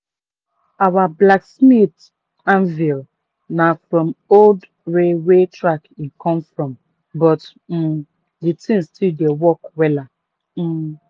our blacksmith anvil na from old railway track e come from but um de thing still dey work wella. um